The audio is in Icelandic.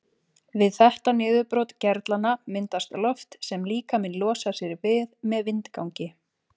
Við þetta niðurbrot gerlanna myndast loft sem líkaminn losar sig við með vindgangi.